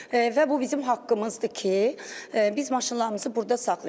Və bu bizim haqqımızdır ki, biz maşınlarımızı burda saxlayaq.